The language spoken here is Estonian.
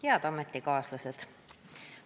Head ametikaaslased!